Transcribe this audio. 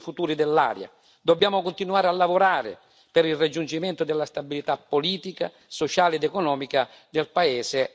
Dobbiamo continuare a lavorare per il raggiungimento della stabilità politica, sociale ed economica del paese e della regione.